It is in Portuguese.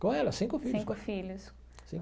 Com ela, cinco filhos. Cinco filhos.